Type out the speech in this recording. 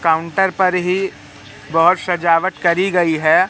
Counter पर ही बहोत सजावट करी गईं हैं।